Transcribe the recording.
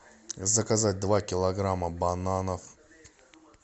заказать два килограмма бананов